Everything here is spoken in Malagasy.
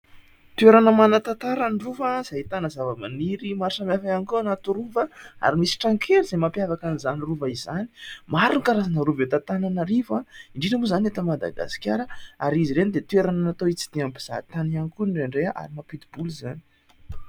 toerana manan-tantara ny rova izay ahitana zava-maniry maro samihafa ihany koa ao anaty rova ary misy trano kely izay mampiavaka an'izany rova izany ;maro ny karazana rova eto Antananarivo indrindra moa izany eto madagasikara ary izy ireny dia toerana natao hitsidihan'ny mpizahan-tany ihany koa indraindray ary mampidi-bola izany